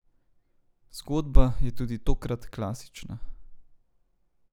Zgodba je tudi tokrat klasična.